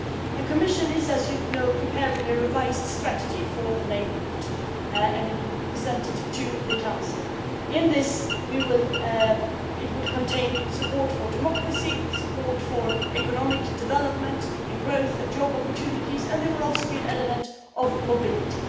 The Commission is, as you know, preparing a revised strategy for the neighbourhood and it will be presented to the Council. It will contain support for democracy, support for economic development, growth and job opportunities, and there will also be an element of mobility.